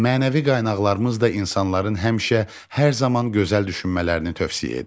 Mənəvi qaynaqlarımız da insanların həmişə, hər zaman gözəl düşünmələrini tövsiyə edir.